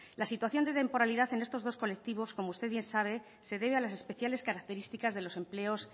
la situación de temporalidad en estos dos colectivos como usted bien sabe se debe a las especiales características de los empleos